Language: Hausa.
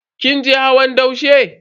Kin je hawan daushe?